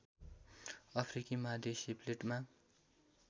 अफ्रिकी महादेशीय प्लेटमा